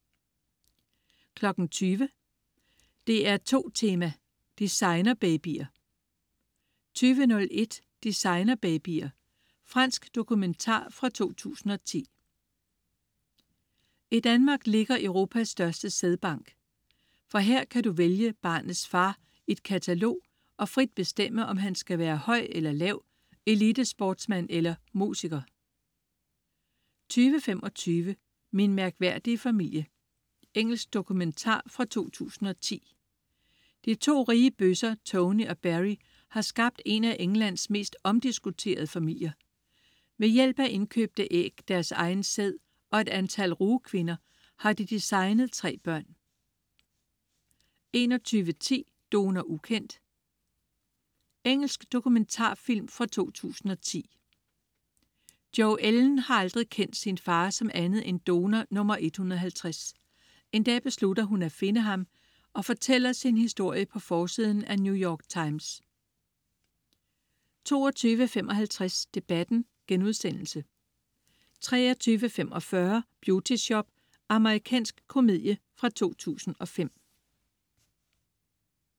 20.00 DR2 Tema: Designerbabyer 20.01 Designerbabyer. Fransk dokumentar fra 2010. I Danmark ligger Europas største sædbank. For her kan du vælge barnets far i et katalog og frit bestemme, om han skal være høj eller lav, elitesportsmand eller musiker 20.25 Min mærkværdige familie. Engelsk dokumentar fra 2010. De to rige bøsser Tony og Barrie har skabt en af Englands mest omdiskuterede familier. Ved hjælp af indkøbte æg, deres egen sæd og et antal rugekvinder, har de designet tre børn 21.10 Donor ukendt. Engelsk dokumentarfilm fra 2010. Jo Ellen har aldrig kendt sin far som andet end donor nummer 150. En dag beslutter hun at finde ham og fortæller sin historie på forsiden af New York Times 22.55 Debatten* 23.45 Beauty Shop. Amerikansk komedie fra 2005